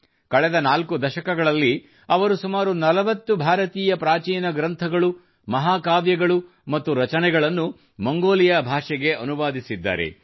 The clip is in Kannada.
ಕಳೆದ 4 ದಶಕಗಳಲ್ಲಿ ಅವರು ಸುಮಾರು 40 ಭಾರತೀಯ ಪ್ರಾಚೀನ ಗ್ರಂಥಗಳು ಮಹಾಕಾವ್ಯಗಳು ಮತ್ತು ರಚನೆಗಳನ್ನು ಮಂಗೋಲಿಯಾ ಭಾಷೆಗೆ ಅನುವಾದಿಸಿದ್ದಾರೆ